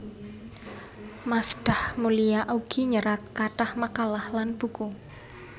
Masdah Mulia ugi nyerat kathah makalah lan buku